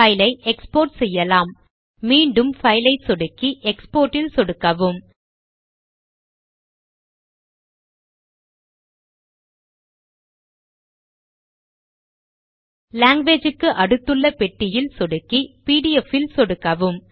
file ஐ export செய்யலாம் மீண்டும் பைல் ஐ சொடுக்கி எக்ஸ்போர்ட் இல் சொடுக்கவும் லாங்குவேஜ் க்கு அடுத்துள்ள பெட்டியில் சொடுக்கி பிடிஎஃப் இல் சொடுக்கவும்